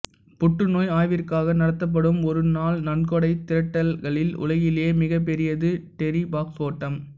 புற்றுநோய் ஆய்விற்காக நடத்தப்படும் ஒரு நாள் நன்கொடை திரட்டல்களில் உலகிலேயே மிகப் பெரியது டெர்ரி பாக்ஸ் ஓட்டம்